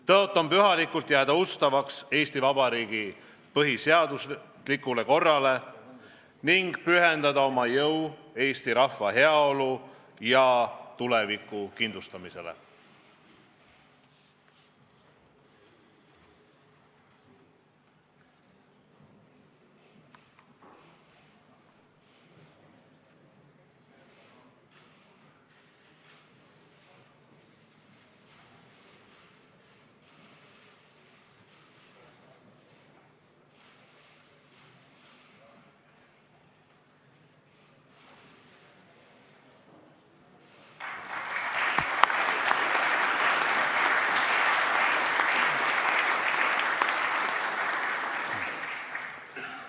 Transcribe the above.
Tõotan pühalikult jääda ustavaks Eesti Vabariigi põhiseaduslikule korrale ning pühendada oma jõu eesti rahva heaolu ja tuleviku kindlustamisele.